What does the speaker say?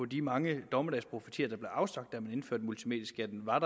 de mange dommedagsprofetier der blev afsagt da man indførte multimedieskatten var